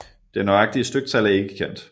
Det nøjagtige styktal er ikke kendt